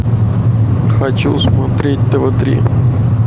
хочу смотреть тв три